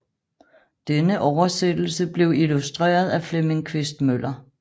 Denne oversættelse blev illustreret af Flemming Quist Møller